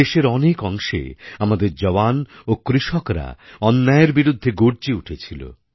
দেশের অনেক অংশে আমাদের জওয়ান ও কৃষকরা অন্যায়ের বিরুদ্ধে গর্জে উঠেছিল